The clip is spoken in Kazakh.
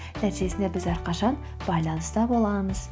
нәтижесінде біз әрқашан байланыста боламыз